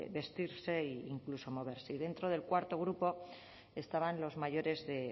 vestirse o incluso moverse y dentro del cuarto grupo estaban los mayores de